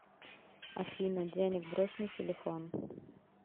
афина денег брось на телефон